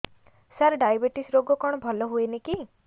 ସାର diabetes ରୋଗ କଣ ଭଲ ହୁଏନି କି